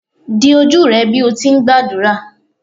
di oju rẹ bi o ti ngbadura!